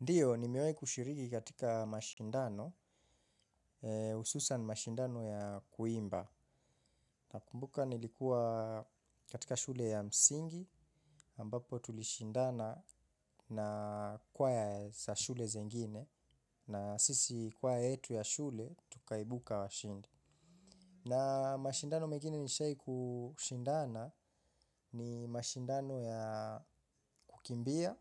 Ndiyo, nimewahi kushiriki katika mashindano, hususan mashindano ya kuimba. Nakumbuka nilikuwa katika shule ya msingi, ambapo tulishindana na kwaya za shule zingine, na sisi kwaya yetu ya shule, tukaibuka washindi. Na mashindano mengine nishai kushindana ni mashindano ya kukimbia